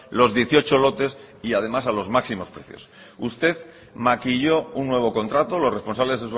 los dieciocho lotes y además a los máximos precios usted maquilló un nuevo contrato los responsables